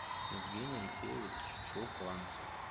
евгений алексеевич чухланцев